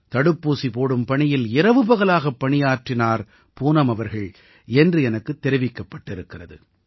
தடுப்பூசி போடும் பணியில் இரவு பகலாகப் பணியாற்றினார் பூனம் அவர்கள் என்று எனக்கு தெரிவிக்கப்பட்டிருக்கிறது